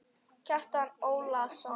Kjartan Ólason